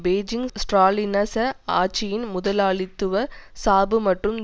Beijing ஸ்ராலினிச ஆட்சியின் முதலாளித்துவ சார்பு மற்றும்